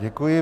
Děkuji.